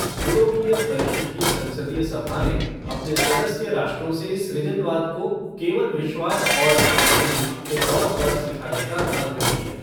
यूरोपीय परिषद की संसदीय सभा ने अपने सदस्य राष्ट्रों से सृजनवाद को केवल विश्वास और कुछ नहीं के तौर पर सिखाने का आग्रह किया।